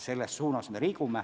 Selles suunas me liigume.